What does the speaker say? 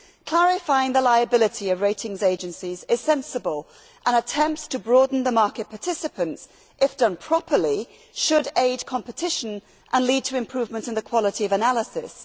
Clarifying the liability of ratings agencies is sensible, and attempts to broaden the market participants, if done properly, should aid competition and lead to improvement in the quality of analysis.